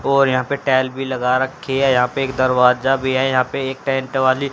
और यहां पे टाइल भी लगा रखी है यहां पे एक दरवाजा भी है यहां पे एक टेंट वाली--